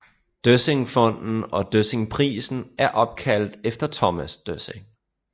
Døssingfonden og Døssingprisen er opkaldt efter Thomas Døssing